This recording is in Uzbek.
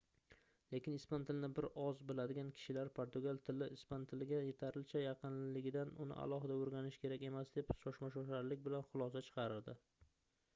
lekin ispan tilini bir oz biladigan kishilar portugal tili ispan tiliga yetarlicha yaqinligidan uni alohida oʻrganish kerak emas deb shoshma-shosharlik bilan xulosa chiqaradi